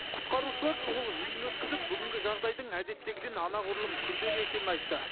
құтқарушылар шұғыл жиын өткізіп бүгінгі жағдайдың әдеттегіден анағұрлым күрделі екенін айтты